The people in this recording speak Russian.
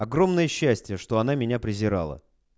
огромное счастье что она меня презирала